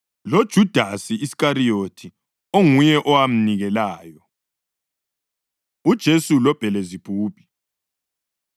loJudasi Iskariyothi onguye owamnikelayo. UJesu LoBhelizebhubhi